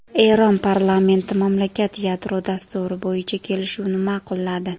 Eron parlamenti mamlakat yadro dasturi bo‘yicha kelishuvni ma’qulladi.